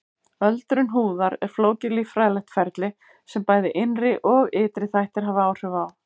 Öldrun húðar er flókið líffræðilegt ferli sem bæði innri og ytri þættir hafa áhrif á.